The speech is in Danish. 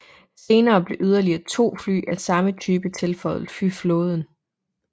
Senere blev yderlige to fly af samme type tilføjet flyflåden